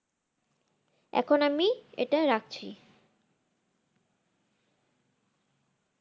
এখন আমি এটা রাখছি।